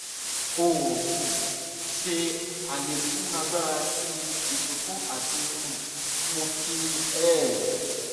o um ṣe alekun agbara ti isunkun ati um mu ki ef